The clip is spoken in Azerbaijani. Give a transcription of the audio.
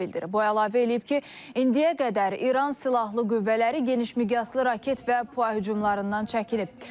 Bu əlavə eləyib ki, indiyə qədər İran silahlı qüvvələri genişmiqyaslı raket və po hücumlarından çəkilib.